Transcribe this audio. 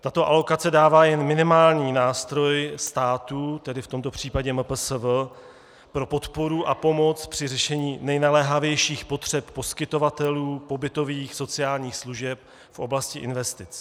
Tato alokace dává jen minimální nástroj státu, tedy v tomto případě MPSV, pro podporu a pomoc při řešení nejnaléhavějších potřeb poskytovatelů pobytových sociálních služeb v oblasti investic.